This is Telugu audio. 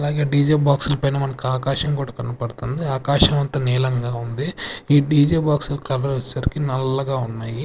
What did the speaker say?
అలాగే డీ జే బాక్స్ల పైన మనకు ఆకాశం కూడా కన్పడ్తంది ఆకాశమంత నీలంగా ఉంది ఈ డీ జే బాక్సుల కలర్ వచ్చేసరికి నల్లగా ఉన్నాయి.